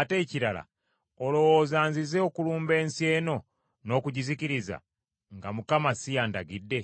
Ate ekirala olowooza nzize okulumba ensi eno n’okugizikiriza nga Mukama si y’andagidde?